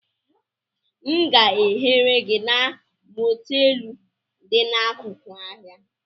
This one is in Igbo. M ga ehere gị na moteelu dị n'akụkụ ahịa?